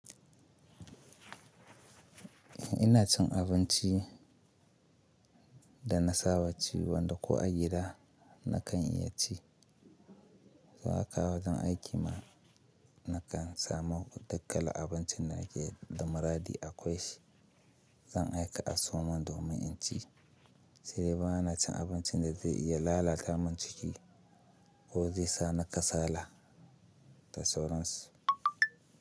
Ina cin abinci da na saba ci wanda ko a gida na kan iya ci. Za a kawo wajen aiki ma na kan samu duk kalar abincin da nake da muradi akwai shi. Zan aika a so mun domin in ci. Sai dai ba na cin abincin da zai iya lalata mun ciki ko zai sa na kasala da sauransu.